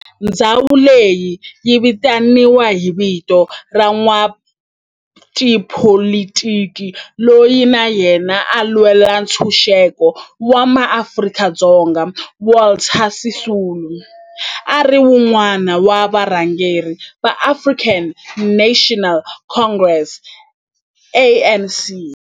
Ndhawo leyi yi vitaniwa hi vito ra n'watipolitiki loyi na yena a lwela ntshuxeko wa maAfrika-Dzonga Walter Sisulu, a ri wun'wana wa varhangeri va African National Congress, ANC.